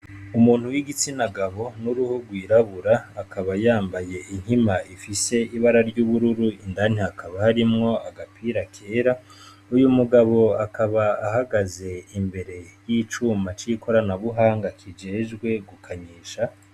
Umuntu wigitsina gabo nuruhu rwirabura akaba yambaye inkima ifise ibara ryubururu indani hakaba harimwo agapira kera uyu mugabo akaba ahagaze imbere yicuma c'ikoranabuhanga kijejwe gukanyisha.